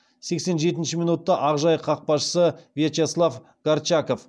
сексен жетінші минутта ақжайық қақпашысы вячеслав горчаков